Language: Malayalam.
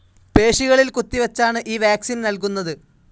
പേശികളിൽ കുത്തിവച്ചാണ് ഈ വാക്സീൻ നൽകുന്നത്.